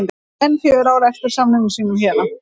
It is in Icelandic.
Hann á enn fjögur ár eftir af samningi sínum hérna